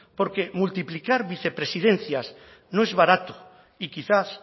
porque multiplicar vicepresidencias no es barato y quizás